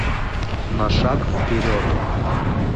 на шаг вперед